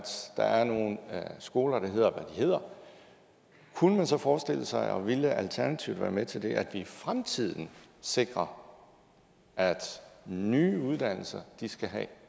der er nogle skoler der hedder hvad hedder kunne man så forestille sig og ville alternativet være med til det at i fremtiden sikrer at nye uddannelser skal have